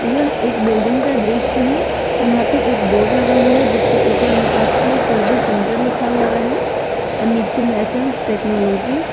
यह एक बिल्डिंग का दृश्य है यहां पे एक बोर्ड लगा हुआ है जिसके ऊपर में एप्सन सर्विस सेंटर लिखा हुआ है और नीचे में एसेंस टेक्नोलॉजी ।